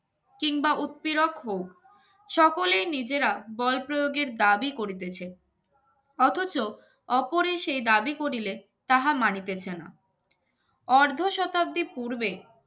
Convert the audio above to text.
কিংবা উক্তি রকম সকলেই নিজেরা বল প্রয়োগের দাবি করিতেছে অথচ ওপরের সেই দাবি করিলে তাহা মানিতেছে না অর্ধ শতাব্দীর পূর্বে